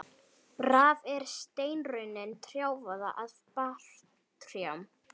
Raf er steinrunnin trjákvoða af barrtrjám.